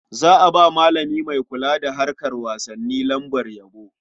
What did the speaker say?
Za a ba malami mai kula da harkar wasanni lambar yabo.